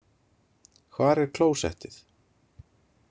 Hvar er klósettið?